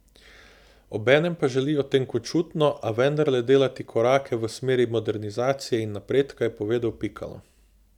Obenem pa želijo tenkočutno, a vendarle delati korake v smeri modernizacije in napredka, je povedal Pikalo.